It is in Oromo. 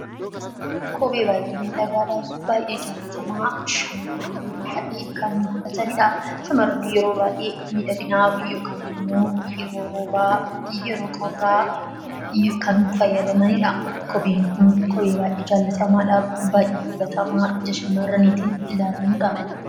Kophee baay'ee miidhagaa fi jaallatamaa yeroo baay'ee shamarran godhatanidha. Shamarran yeroo baay'ee miidhagina yookaan immoo yeroo roobaa fi yeroo qorraa kan fayyadamanidha. Kopheen kun kophee baay'ee jaallatamummaa dhaa fi baay'ee shammarraniitiin ilaalamudha.